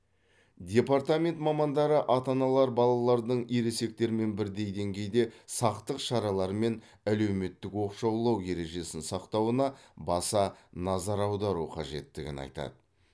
департамент мамандары ата аналар балалардың ересектермен бірдей деңгейде сақтық шаралары мен әлеуметтік оқшаулау ережесін сақтауына баса назар аудару қажеттігін айтады